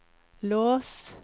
lås